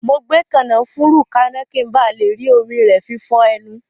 Mo gbé kànáfùrú kaná, ki n ba le rí omi rẹ fi fọ ẹnu